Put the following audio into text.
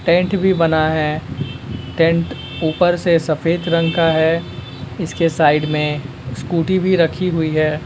Tent भी बना है टेंट ऊपर से सफेद रंग का है इसके साइड मे स्कूटी भी रखी हुई है।